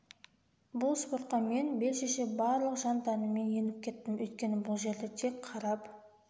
бұл спортқа мен бел шеше барлық жан-тәніммен еніп кеттім өйткені бұл жерде тек қарап